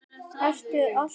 Ertu alltaf að yrkja?